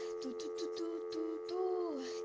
ту ту ту ту ту ту